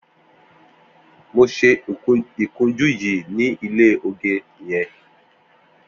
Mó ṣé ikùnjù yi ni ilé ógé yèn